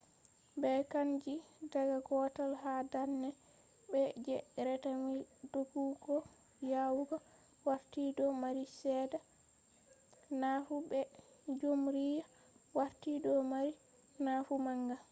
ɓe canji daga gotel ha darnai be je reta mile doggugo yawugo warti do mari seeɗa nafu be jumriya warti do mari nafu manga